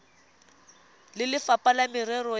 le lefapha la merero ya